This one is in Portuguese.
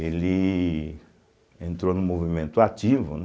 Ele entrou no movimento ativo, né?